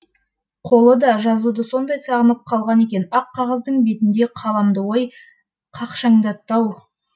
қолы да жазуды сондай сағынып қалған екен ақ қағаздың бетінде қаламды ой қақшаңдатты ау